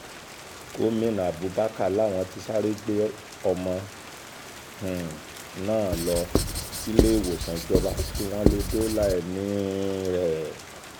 gomina abubakar làwọn ti sáré gbé ọmọ um náà lọ síléèwòsàn ìjọba kí wọ́n lè dóòlà ẹ̀mí um ẹ̀